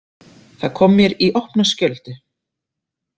Það kom mér í opna skjöldu.